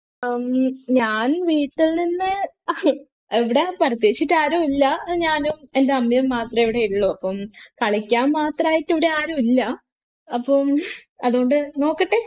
ഞാൻ വീട്ടിൽനിന്ന് എവിടാ പ്രത്യേകിച്ചിട്ട് ആരും ഇല്ല ഇവിടെ ഞാനും എൻ്റെ അമ്മയും മാത്രം ഇവിടെ ഉള്ളു അപ്പം കളിക്കാൻ മാത്രമായിട്ട് ഇവിടെ ആരുമില്ല അപ്പം അതുകൊണ്ട് നോക്കട്ടെ